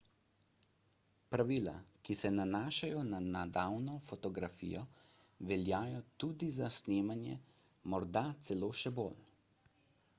pravila ki se nanašajo na navadno fotografijo veljajo tudi za snemanje morda celo še bolj